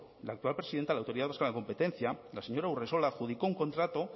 la actual presidenta de la autoridad vasca de la competencia la señora urresola adjudicó un contrato